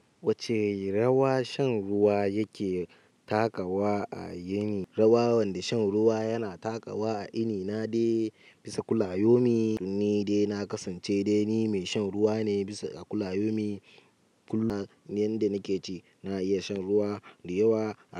Wacce rawa shan ruwa yake takawa a yini, rawa wanda shan ruwa yana takawa a inina dai bisa kulayaumi, ni dai na kasance dai ni mai shan ruwa ne bisa a kulayaumi. Kullum yanda nake ci na iya shan ruwa da yawa.